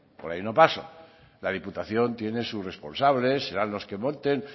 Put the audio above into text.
por ahí no paso la diputación tiene sus responsables serán los que voten